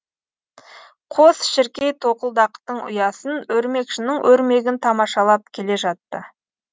қос шіркей тоқылдақтың ұясын өрмекшінің өрмегін тамашалап келе жатты